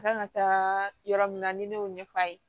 Kan ka taa yɔrɔ min na ni ne y'o ɲɛf'a ye